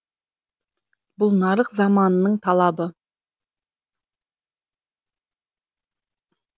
бұл нарық заманының талабы